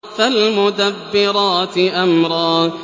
فَالْمُدَبِّرَاتِ أَمْرًا